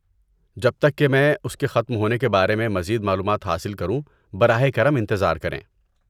جب تک کہ میں اس کے ختم ہونے کے بارے میں مزید معلومات حاصل کروں براہ کرم انتظار کریں۔